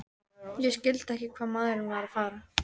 Ég skildi ekki hvað maðurinn var að fara.